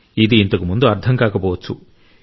ఇది ఇంతకు ముందు అర్థం కాకపోవచ్చు